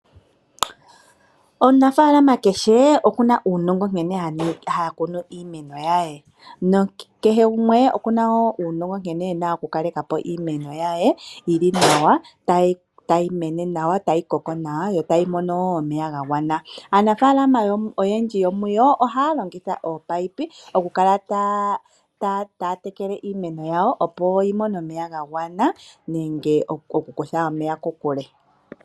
Omunafaalama kehe okuna uunongo nkene hakunu iimeno ye . Kehe gumwe okuna uunongo wankene ena okukalekapo iimeno ye yili nawa, tayi koko nawa, yo tayi mono wo omeya gagwana . Aanafaalama oyendji yomuyo ohaya longitha ominino okukala taya tekele iimeno yawo, opo yimone omeya gagwana nenge okukutha omeya kokule.